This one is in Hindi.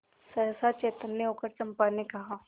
सहसा चैतन्य होकर चंपा ने कहा